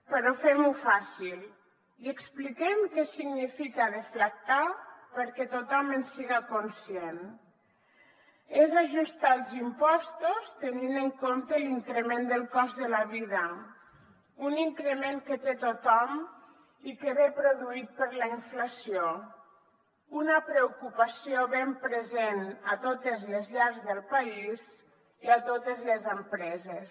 però fem ho fàcil i expliquem què significa deflactar perquè tothom en siga conscient és ajustar els impostos tenint en compte l’increment del cost de la vida un increment que té tothom i que ve produït per la inflació una preocupació ben present a totes les llars del país i a totes les empreses